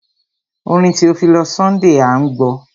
Orin Theophilus Sunday à ń gbọ́.